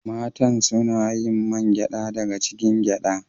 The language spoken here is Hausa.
Matan suna yin man gyada daga cikin goro